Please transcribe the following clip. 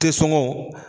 Te sɔngɔn